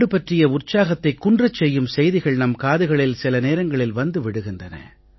நாடு பற்றி உற்சாகத்தைக் குன்றச் செய்யும் செய்திகள் நம் காதுகளில் சில நேரங்களில் வந்து விழுகின்றன